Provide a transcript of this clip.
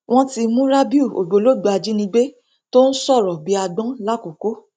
wọn ti mú rábìù ògbólógbòó ajínigbé tó ń sọrọ bíi àgbọn làkòkò